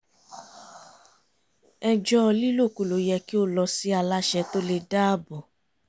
ẹjọ́ lílòkulò yẹ kí ó lọ sí aláṣẹ tó le dáàbò